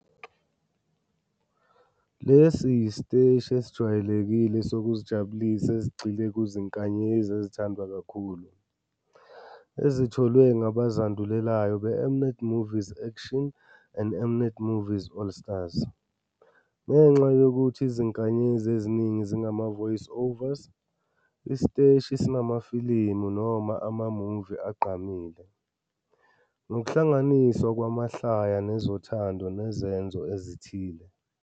Lesi yisiteshi esijwayelekile sokuzijabulisa esigxile kuzinkanyezi ezithandwa kakhulu, ezitholwe ngabazandulelayo beM-Net Movies Action and M-Net Movies Allstars. Ngenxa yokuthi izinkanyezi eziningi zingama-voiceovers, isiteshi sinamafilimu noma ama-movie agqamile, ngokuhlanganiswa kwamahlaya nezothando nezenzo ezithile.